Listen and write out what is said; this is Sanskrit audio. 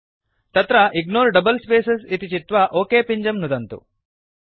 अत्र इग्नोर डबल स्पेसेस् इति चित्वा ओक पिञ्जं नुदन्तु